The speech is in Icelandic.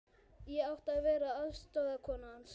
Ég átti að vera aðstoðarkona hans.